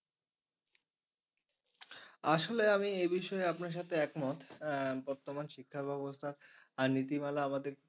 আসলে আমি এ বিষয়ে আপনার সাথে একমত আহ বর্তমান শিক্ষা ব্যবস্থা নীতিমালা আমাদের